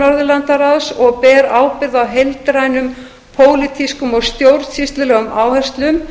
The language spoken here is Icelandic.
norðurlandaráðs og ber ábyrgð á heildrænum pólitískum og stjórnsýslulegum áherslum